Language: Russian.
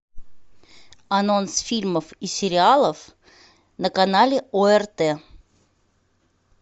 анонс фильмов и сериалов на канале орт